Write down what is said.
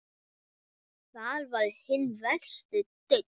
Þar var hinn versti daunn.